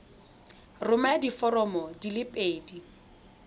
romela diforomo di le pedi